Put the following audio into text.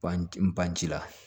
Ban ci la